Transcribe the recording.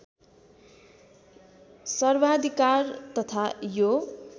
सर्वाधिकार तथा यो